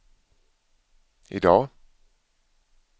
idag